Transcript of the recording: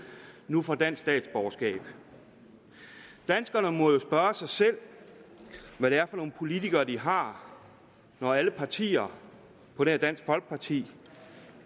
nu får dansk statsborgerskab danskerne må jo spørge sig selv hvad det er for nogle politikere de har når alle partier på nær dansk folkeparti